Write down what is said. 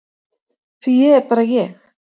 Því ég er bara ég.